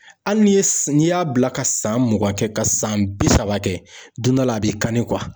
Hali ni ye n'i y'a bila ka san mugan kɛ, ka san bi saba kɛ , don dɔ la, a b'i kani